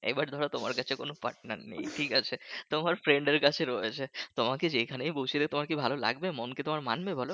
এইবার ধরো তোমার কাছে কোনো partner নেই ঠিকাছে? তোমার friend র কাছে রয়েছে তোমাকে যেখানেই বসিয়ে দি তোমার কি ভালো লাগবে? মন কি তোমার মানবে বলো?